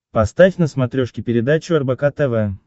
поставь на смотрешке передачу рбк тв